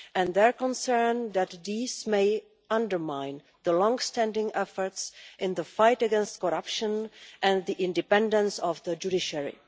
They are concerned that this may undermine the long-standing efforts in the fight against corruption and the independence of the judiciary.